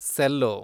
cello